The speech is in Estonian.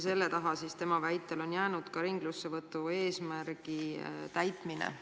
Selle taha on Harri Moora väitel jäänud ka ringlussevõtu eesmärgi täitmine.